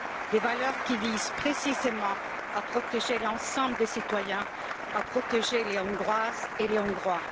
Des valeurs qui visent précisément à protéger l'ensemble des citoyens, à protéger les Hongroises et les Hongrois.